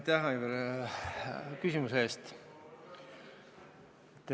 Aitäh, Aivar, küsimuse eest!